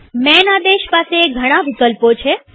માન આદેશ પાસે ઘણા વિકલ્પો છે